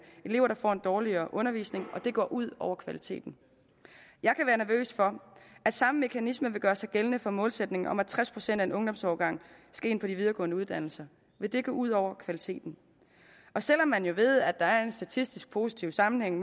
elever der får en dårligere undervisning og det går ud over kvaliteten jeg kan være nervøs for at samme mekanisme vil gøre sig gældende for målsætningen om at tres procent af en ungdomsårgang skal ind på de videregående uddannelser vil det gå ud over kvaliteten selv om man ved at der er en statistisk positiv sammenhæng